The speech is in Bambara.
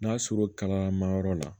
N'a sɔr'o kalamayɔrɔ la